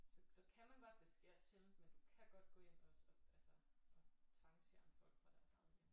Så så kan man godt det sker sjældent men du kan godt gå ind og altså og tvangsfjerne folk fra deres egen hjem